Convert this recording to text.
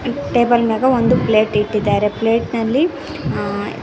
table ಮ್ಯಾಗ ಒಂದು plate ಇಟ್ಟಿದಾರೆ ಪ್ಲೇಟ್ ನಲ್ಲಿ ಅ--